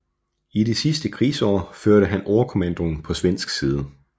I det sidste krigsår førte han overkommandoen på svensk side